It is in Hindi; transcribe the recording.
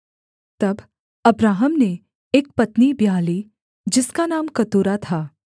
तब अब्राहम ने एक पत्नी ब्याह ली जिसका नाम कतूरा था